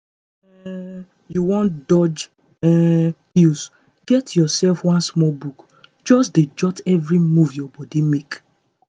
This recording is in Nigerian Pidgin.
if um you wan dodge um pills get yourself one small book just dey jot every move your body make.